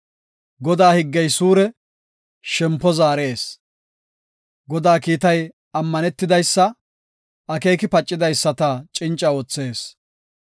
Godaa higgey suure; shempo zaarees. Godaa kiitay ammanetidaysa; akeeki pacidaysata cinca oothees.